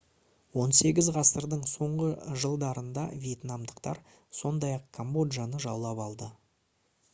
18 ғасырдың соңғы жылдарында вьетнамдықтар сондай-ақ камбоджаны жаулап алды